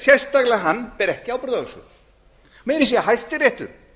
sérstaklega hann ber ekki ábyrgð á þessu meira að segja hæstiréttur